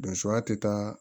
Donsoya tɛ taa